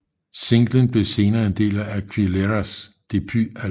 Singlen blev senere en del af Aguileras debutalbum